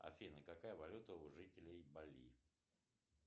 афина какая валюта у жителей бали